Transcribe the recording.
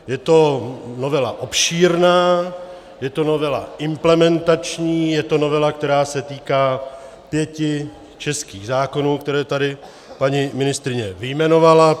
Je to novela obšírná, je to novela implementační, je to novela, která se týká pěti českých zákonů, které tady paní ministryně vyjmenovala.